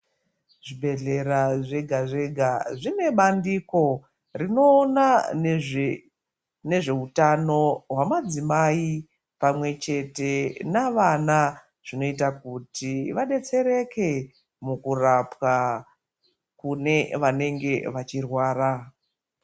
Zvibhedhlera zvega zvega zvine mandiko rinoona nezve utano hwemadzimai pamwe chete navana zvinoita kuti vadetsereke mukurapwa kune vanenge vachirwara .